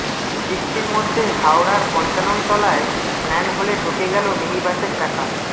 বৃষ্টির মধ্যে হাওড়ার পঞ্চাননতলায় ম্যানহোলে ঢুকে গেল মিনি বাসের চাকা